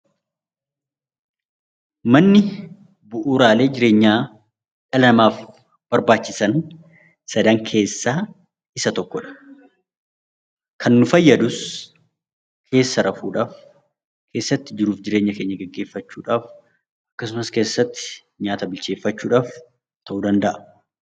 Manni bu'uuraalee jireenyaa dhala namaaf barbaachisan sadan keessaa isa tokkodha. Kan nu fayyadus, keessa rafuudhaaf, keessatti jiruu fi jireenya keenya gaggeeffachuudhaaf, akkasumas keessatti nyaata bilcheefachuu dhaaf ta'uu danda'a.